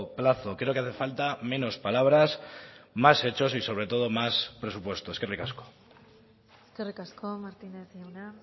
plazo creo que hace falta menos palabras más hechos y sobre todo más presupuesto eskerrik asko eskerrik asko martínez jauna